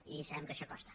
i sabem que això costa